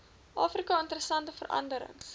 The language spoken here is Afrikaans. afrika interessante veranderings